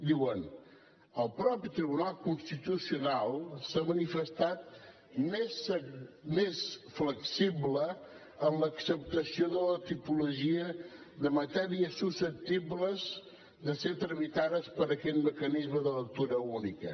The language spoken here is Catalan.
diuen el mateix tribunal constitucional s’ha manifestat més flexible en l’acceptació de la tipologia de matèries susceptibles de ser tramitades per aquest mecanisme de lectura única